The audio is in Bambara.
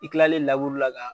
I kilalen la ka.